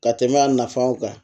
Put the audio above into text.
Ka tɛmɛ a nafanw kan